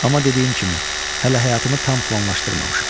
Amma dediyim kimi, hələ həyatımı tam planlaşdırmamışam.